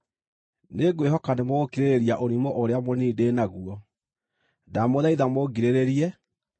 Nĩngwĩhoka nĩmũgũkirĩrĩria ũrimũ ũrĩa mũnini ndĩ naguo; ndamũthaitha mũngirĩrĩrie.